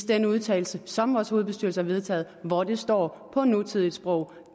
den udtalelse som vores hovedbestyrelse har vedtaget og hvor det står på et nutidigt sprog